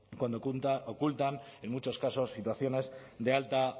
cuando ocultan en muchos casos situaciones de alta